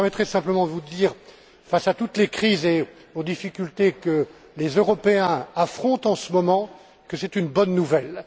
Vous me permettrez simplement de vous dire, face à toutes les crises et aux difficultés que les Européens affrontent en ce moment, que c'est une bonne nouvelle.